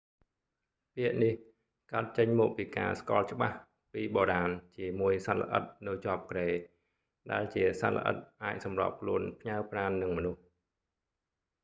ពាក្យនេះកើតចេញមកពីការស្គាល់ច្បាស់ពីបុរាណជាមួយសត្វល្អិតនៅជាប់គ្រែ ដែលជាសត្វល្អិតអាចសម្របខ្លួនផ្ញើប្រាណនឹងមនុស្ស